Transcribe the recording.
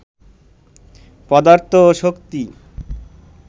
পদার্থ ও শক্তি